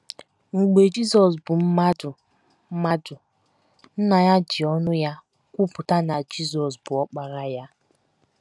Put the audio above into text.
Mgbe Jizọs bụ mmadụ, mmadụ, Nna ya ji ọnụ ya kwupụta na Jizọs bụ Ọkpara Ya.